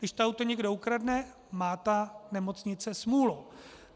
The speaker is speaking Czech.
Když to auto někdo ukradne, má ta nemocnice smůlu.